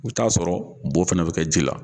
U bi t'a sɔrɔ bɔ fana bɛ kɛ ji la.